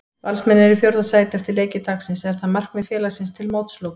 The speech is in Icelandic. Valsmenn eru í fjórða sæti eftir leiki dagsins, er það markmið félagsins til mótsloka?